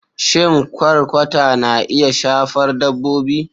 Shin Kwakwata na iya shafar Dabbobi?